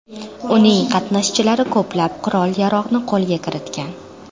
Uning qatnashchilari ko‘plab qurol-yarog‘ni qo‘lga kiritgan.